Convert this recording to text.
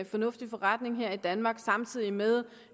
fornuftig forretning her i danmark samtidig med